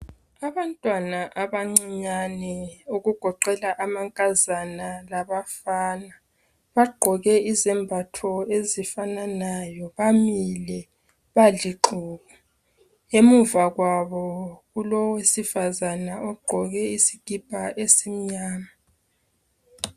Abantwana abancinyane okugoqela amankazana labafana bagqoke izembatho ezifananayo, bamile balixuku emuva kwabo kulowesifazana ogqoke isikipa esimnyama